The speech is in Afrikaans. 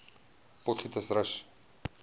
potgietersrus